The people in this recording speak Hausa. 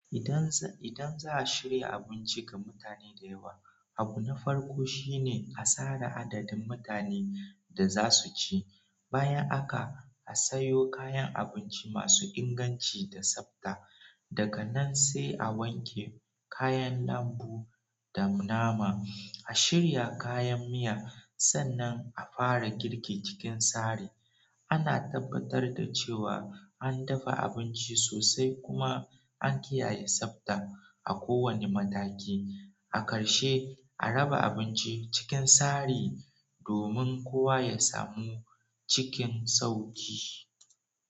Idan za a shirya abinci ga mutane da yawa, abu na farko shine a tsara adadin mutanen da za su ci, bayan haka a sayo kayan abinci masu inganci da tsabta. Daga nan sai a wanke kayan lambu da nama, a shirya kayan miya sannan a fara girki cikin sari. Ana tabbatar da cewa an dafa abinci sosai kuma an kiyaye tsabta a kowane mataki. A ƙarshe, a raba abinci cikin sari domin kowa ya samu cikin sauƙi.